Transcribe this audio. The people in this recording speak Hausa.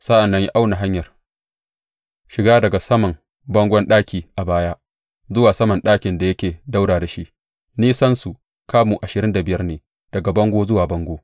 Sa’an nan ya auna hanyar shiga daga saman bangon ɗaki a baya zuwa saman ɗakin da yake ɗaura da shi; nisansu kamu ashirin da biyar ne daga bango zuwa bango.